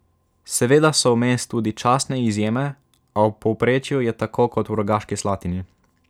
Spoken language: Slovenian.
Seveda so vmes tudi častne izjeme, a v povprečju je tako kot v Rogaški Slatini.